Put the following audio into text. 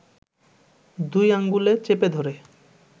দুই আঙুলে চেপে ধরে